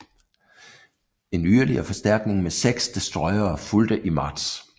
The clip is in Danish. En yderligere forstærkning med seks destroyere fulgte i marts